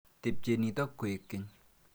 Tepchei nitok koek keny.